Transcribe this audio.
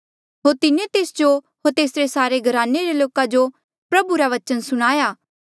होर तिन्हें तेस जो होर तेसरे सारे घराने रे लोका जो प्रभु रा बचन सुणाया